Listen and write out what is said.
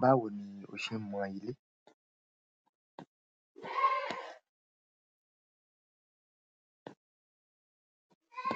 Báwo ni o ṣe ń mọ ilé?